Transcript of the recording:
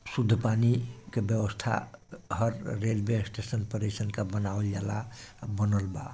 शुद्ध पानी के व्यवस्था हर रेलवे स्टेशन परिसर के बनावल जाला और बनल बा।